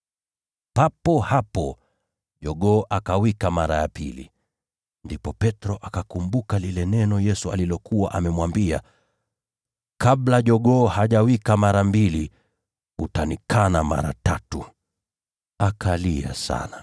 Papo hapo jogoo akawika mara ya pili. Ndipo Petro akakumbuka lile neno Yesu alikuwa amemwambia: “Kabla jogoo hajawika mara mbili, utanikana mara tatu.” Akavunjika moyo, akalia sana.